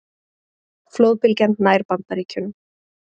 Flóðbylgjan nær Bandaríkjunum